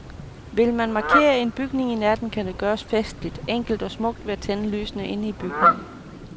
Vil man markere en bygning i natten kan det gøres festligt, enkelt og smukt ved at tænde lysene inde i bygningen.